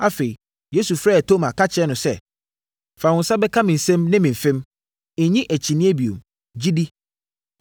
Afei, Yesu frɛɛ Toma ka kyerɛɛ no sɛ, “Fa wo nsa bɛka me nsam ne me mfem. Nnye akyinnyeɛ bio. Gye di!”